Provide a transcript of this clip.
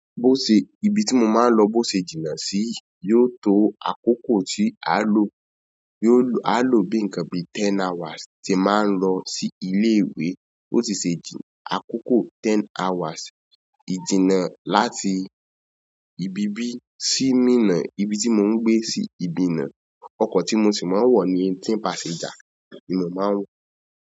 Bose- ibi ti mo maa n lo bo se jina si yìí yóò to akoko ti a lo yóò a lọ bí nǹkan bí ten hours tí máa ń lọ sí ilé ìwé ó sì ṣe àkókò ten hours ìjìnnà láti ibi bí sí mínna ibi tí mò ń gbé sí minna. Ọkọ̀ tí mo sì máa ń wọ̀ ni eighteen pàsẹ́ńjà ni mo máa ń wọ̀.